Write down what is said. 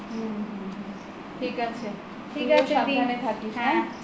ঠিক আছে তুইও সাবধানে থাকিস হ্যা